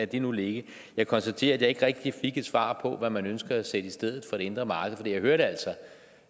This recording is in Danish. det nu ligge jeg konstaterer at jeg ikke rigtig fik et svar på hvad man ønsker at sætte i stedet for det indre marked for jeg hørte altså